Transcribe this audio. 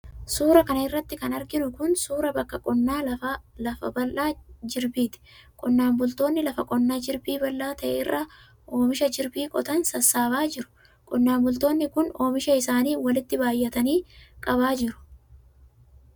Suura kana irratti kan arginu kun, suura bakka qonnaa lafa bal'aa jirbiiti. Qonnaan bultoonni lafa qonnaa jirbii bal'aa ta'e irraa ,oomisha jirbii qotan sassaabaa jiru. Qonnaan bultoonni kun, oomisha isaanni walitti baay'atanii qabaa jiru.